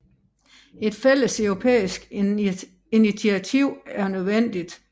Et fælles europæisk initiativ er nødvendigt